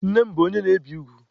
Nne m bụ onye na-ebi ugwu.